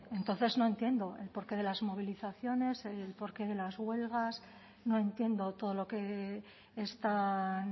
entonces no entiendo el porqué de las movilizaciones el porqué de las huelgas no entiendo todo lo que están